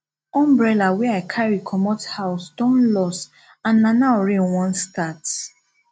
umbrella wey i carry comot house don loss and na now rain wan start